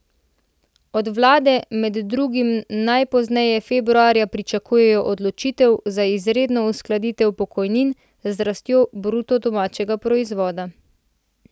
Od vlade med drugim najpozneje februarja pričakujejo odločitev za izredno uskladitev pokojnin z rastjo bruto domačega proizvoda.